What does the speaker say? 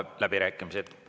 Avan läbirääkimised.